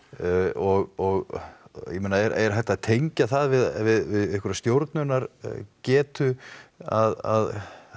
og ég meina er hægt að tengja það við einhverja stjórnunargetu að